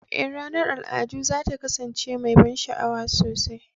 Ee, ranar al'adu za ta kasance mai ban sha'awa sosai.